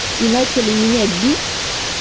и начали меня бить